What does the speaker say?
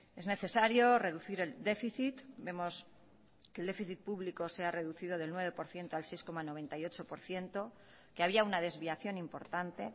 es necesario reducir el déficit vemos que el déficit público se ha reducido del nueve por ciento al seis coma noventa y ocho por ciento que había una desviación importante